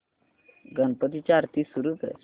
गणपती ची आरती सुरू कर